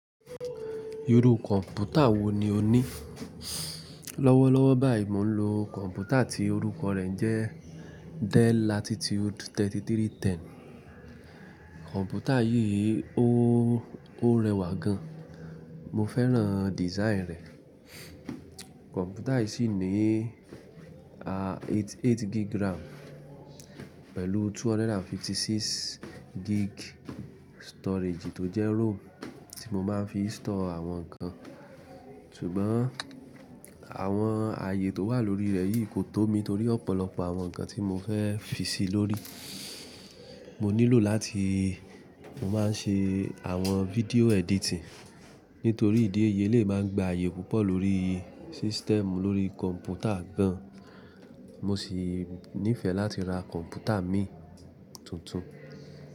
Iru kọ̀npútà wo ni o ní? Lọ́wọ́lọ́wọ́ báyìí mò ń lo kọ̀npútà tí orúkọ rẹ̀ jẹ́ Dell Latitude 3310. Kọ̀npútà yìí ó, ó rẹwà gan, mo fẹ́ràn design rẹ̀. Kọ̀npútà yìí sì ní a eight, eight gig RAM pẹ̀lú 256 gig storage tó jẹ́ ROM tí mo máa ń fi store àwọn nǹkan. Ṣùgbọ́n àwọn ààyè tó wà lórí rẹ̀ yìí kò tó mi torí ọ̀pọ̀lọpọ̀ àwọn nǹkan tí mo fẹ́ fi sí i lórí. Mò nílò láti, mo máa ń ṣe àwọn fídíò editing. Nítorí ìdí èyí eleyi máa n gba ààyè púpọ̀ lórí system lórí kọ̀npútà gan. Mo sì nífẹ̀ẹ́ láti ra kọ̀npútà mii tuntun.